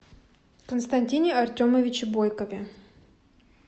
константине артемовиче бойкове